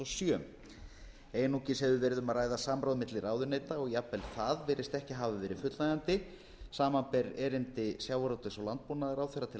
sjö einungis hefur verið um að ræða samráð milli ráðuneyta og jafnvel það virðist ekki hafa verið fullnægjandi samanber erindi sjávarútvegs og landbúnaðarráðherra til